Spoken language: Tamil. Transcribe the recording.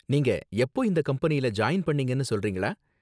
நீங்க எப்போ இந்த கம்பெனியில ஜாயின் பண்ணீங்கனு சொல்றீங்களா?